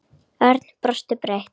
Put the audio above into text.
Örn brosti breitt.